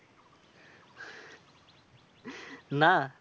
না।